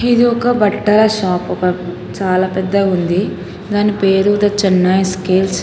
ఇది ఒక బట్టల షాపు ఒక చాలా పెద్దగుంది దాని పేరు ధ చెన్నై స్కేల్స్ .